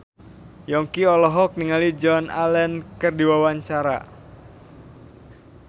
Yongki olohok ningali Joan Allen keur diwawancara